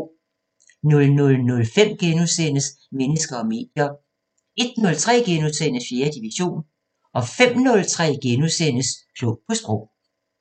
00:05: Mennesker og medier * 01:03: 4. division * 05:03: Klog på Sprog *